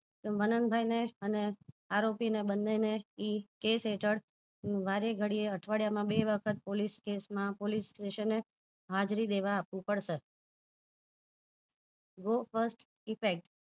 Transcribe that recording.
મનનભાઈ ને અને આરોપી ને બને ને એ કેસ હેઠળ વારે ઘડીએઅઠવાડિયા માં વે વખત police case માં police station માં હાજરી દેવા આવું પડશે go first effect